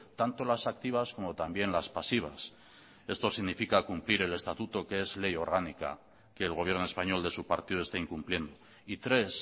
tanto las activas como también las pasivas esto significa cumplir el estatuto que es ley orgánica que el gobierno español de su partido está incumpliendo y tres